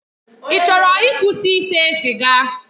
Ị chọrọ ịkwụsị ise siga?